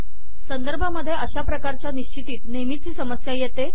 संदर्भामधे अशा प्रकारच्या निश्चितीत नेहमीच ही समस्या येते